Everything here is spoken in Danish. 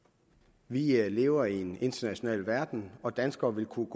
vi lever i en international verden og danskerne kunne